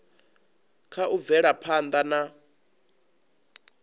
kha u bvela phanda na